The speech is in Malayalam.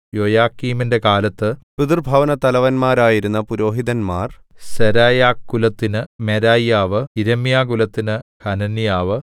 യോയാക്കീമിന്റെ കാലത്ത് പിതൃഭവനത്തലവന്മാരായിരുന്ന പുരോഹിതന്മാർ സെരായാകുലത്തിന് മെരായ്യാവ് യിരെമ്യാകുലത്തിന് ഹനന്യാവ്